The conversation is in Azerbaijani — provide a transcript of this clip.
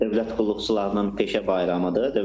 Dövlət qulluqçularının peşə bayramıdır.